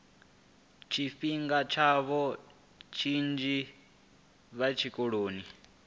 tshifhinga tshavho tshinzhi vhe tshikoloni